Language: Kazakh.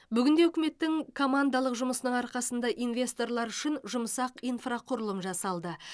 бүгінде үкіметтің командалық жұмысының арқасында инвесторлар үшін жұмсақ инфрақұрылым жасалды